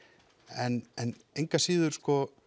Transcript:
en engu að síður